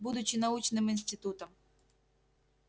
будучи научным институтом